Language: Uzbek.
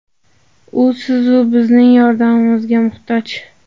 U siz-u bizning yordamimizga muhtoj.